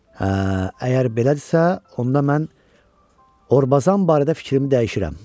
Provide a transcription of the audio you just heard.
Hə, əgər belədirsə, onda mən Orbazan barədə fikrimi dəyişirəm.